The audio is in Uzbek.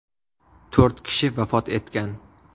To‘rt kishi vafot etgan.